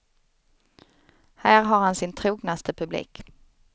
Här har han sin trognaste publik.